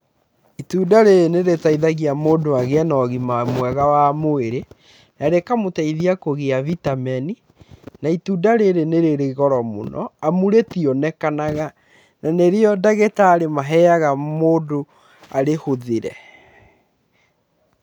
Itunda rĩrĩ nĩrĩteithagia mũndũ agĩe na ũgima mwega wa mwĩrĩ, na rĩkamũtheithia kũgĩa vitameni na itunda rĩrĩ nĩ rĩrĩ goro mũno amu rítionekanaga na nĩrĩo ndagĩtarĩ maheaga mũndũ arĩhũthĩre.